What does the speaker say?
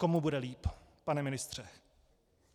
Komu bude líp, pane ministře?